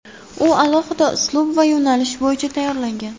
U alohida uslub va yo‘nalish bo‘yicha tayyorlangan.